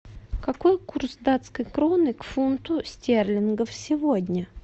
какой курс датской кроны к фунту стерлингов сегодня